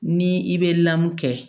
Ni i bɛ lamɔ kɛ